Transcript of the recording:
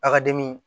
A ka dimi